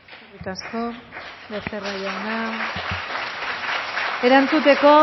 eskerrik asko becerra jauna erantzuteko